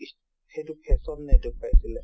সেইটো fashion নেদেখুৱাইছিলে